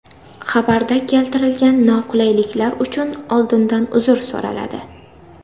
Xabarda keltiriladigan noqulayliklar uchun oldindan uzr so‘raladi.